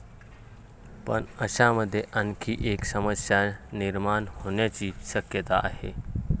पण अशामध्ये आणखी एक समस्या निर्माण होण्याची शक्यता आहे.